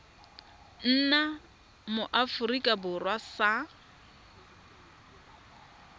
nna mo aforika borwa sa